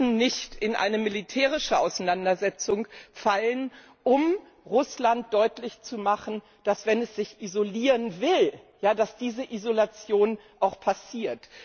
Wir müssen nicht in eine militärische Auseinandersetzung fallen, um Russland deutlich zu machen, dass, wenn es sich isolieren will, diese Isolation auch passiert.